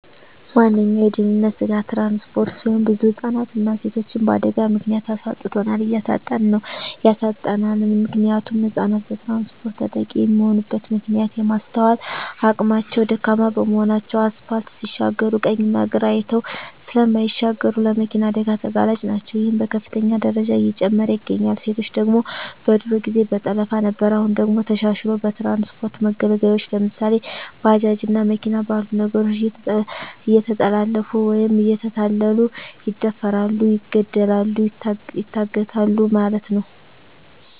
ዋነኛዉ የድህንነት ስጋት ትራንስፖርት ሲሆን ብዙ ህፃናትንና ሴቶችን በአደጋ ምክንያት አሳጥቶናል እያሳጣን ነዉ ያሳጣናልም። ምክንያቱም ህፃናት በትራንስፖርት ተጠቂ የሚሆኑበት ምክንያት የማስትዋል አቅማቸዉ ደካማ በመሆናቸዉ አስፓልት ሲሻገሩ ቀኝና ግራ አይተዉ ስለማይሻገሩ ለመኪና አደጋ ተጋላጭ ናቸዉ ይሄም በከፍተኛ ደረጃ እየጨመረ ይገኛል። ሴቶች ደግሞ በድሮ ጊዜ በጠለፋ ነበር አሁን ደግሞ ተሻሽልሎ በትራንስፖርት መገልገያወች ለምሳሌ፦ ባጃጅ እና መኪና ባሉ ነገሮች እየተጠለፊፉ ወይም እየተታለሉ ይደፈራሉ ይገደላሉ ይታገታሉ ማለት ነዉ።